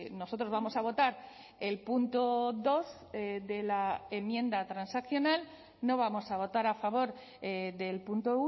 nosotros vamos a votar el punto dos de la enmienda transaccional no vamos a votar a favor del punto